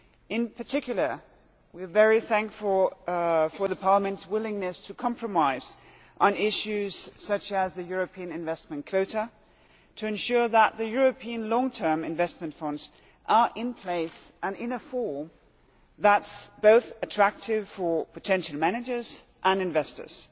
In particular, we are very thankful for Parliament's willingness to compromise on issues such as the European investment quota to ensure that the European Long term Investment Funds are in place and in a form that is both attractive for potential managers and investors.